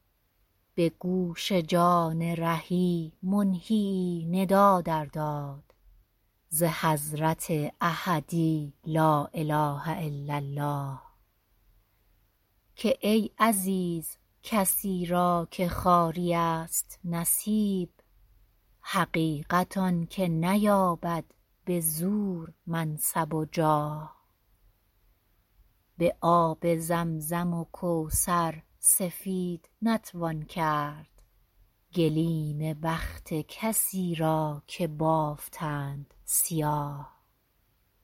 به گوش جان رهی منهیی ندا در داد ز حضرت احدی لا اله الا الله که ای عزیز کسی را که خواری ست نصیب حقیقت آن که نیابد به زور منصب و جاه به آب زمزم و کوثر سفید نتوان کرد گلیم بخت کسی را که بافتند سیاه